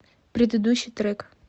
предыдущий трек